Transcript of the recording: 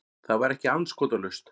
Það var ekki andskotalaust.